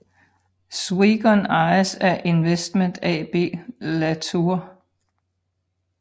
Swegon ejes af Investment AB Latour